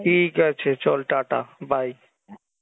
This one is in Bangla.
ঠিক আছে চল টা টা bye